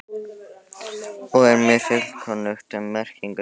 og er mér fullkunnugt um merkingu þess.